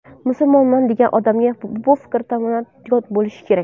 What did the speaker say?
Musulmonman degan odamga bu fikr tamoman yot bo‘lishi kerak.